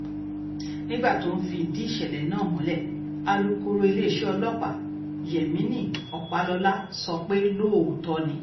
nígbà tó ń fìdí ìṣẹ̀lẹ̀ náà múlẹ̀ alūkkóró iléeṣẹ́ ọlọ́pàá yemini ọpálọ́lá sọ pé lóòótọ́ ni